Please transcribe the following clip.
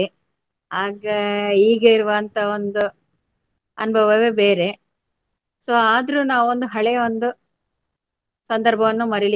ಆಗ ಹೀಗೆ ಇರುವಂತ ಒಂದು ಅನುಭವವೇ ಬೇರೆ. So ಆದ್ರು ನಾವು ಒಂದು ಹಳೆಯ ಒಂದು ಸಂದರ್ಭವನ್ನು.